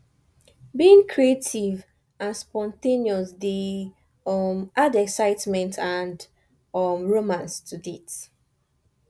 being creative and spontaneous dey um add excitement and um romance to dates